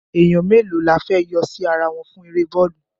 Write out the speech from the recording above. Èèyàn mélòó la fẹ́ yọ sí ara wọn fún eré bọ́ọ̀lù?